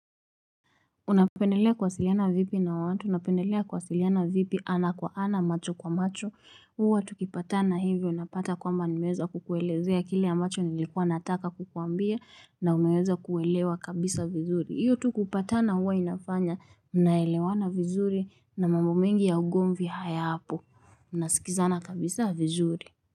Unapendelea kuwasiliana vipi na watu napendelea kuwasiliana vipi ana kwa ana macho kwa macho, huwa tukipatana hivyo unapata kwamba nimeweza kukuelezea kile ambacho nilikuwa nataka kukuambia na umeweza kuelewa kabisa vizuri. Hiyo tu kupatana huwa inafanya mnaelewana vizuri na mambo mengi ya ugombv hayapo. Unasikizana kabisa vizuri.